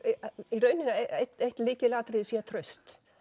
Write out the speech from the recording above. í rauninni að eitt lykilatriði sé traust